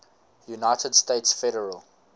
united states federal